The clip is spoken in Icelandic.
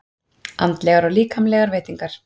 ANDLEGAR OG LÍKAMLEGAR VEITINGAR